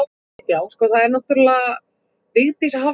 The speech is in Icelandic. annars, einsog ég hef sagt, þú mátt ráða.